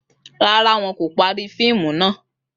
Rárá, wón kò parí fíìmù náà